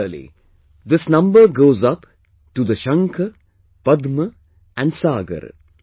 Similarly this number goes up to the shankh, padma and saagar